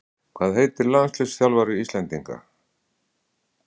Hvað heitir landsliðsþjálfari Íslendinga?